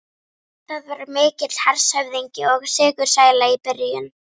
Það var mikill hershöfðingi og sigursæll í byrjun.